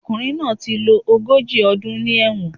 Ọkùnrin náà ti lo ogójì ọdún ní ẹ̀wọ̀n